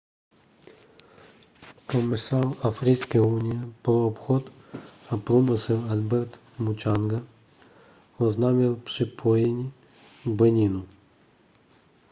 komisař africké unie pro obchod a průmysl albert muchanga oznámil připojení beninu